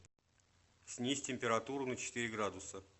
снизь температуру на четыре градуса